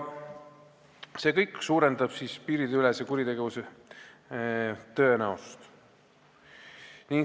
See kõik suurendab piiriülese kuritegevuse tõenäosust.